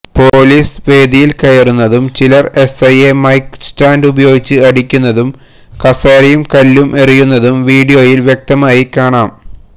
police വേദിയിൽ കയറുന്നതും ചിലർ എസ്ഐയെ മൈക്ക് സ്റ്റാൻഡ് ഉപയോഗിച്ച് അടിക്കുന്നതും കസേരയും കല്ലും എറിയുന്നതും വിഡിയോയിൽ വ്യക്തമായി കാണാം